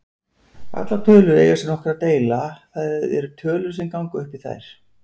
Allar tölur eiga sér nokkra deila, það er tölur sem ganga upp í þær.